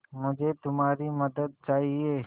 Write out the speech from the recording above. मुझे तुम्हारी मदद चाहिये